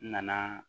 N nana